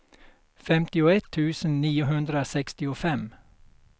femtioett tusen niohundrasextiofem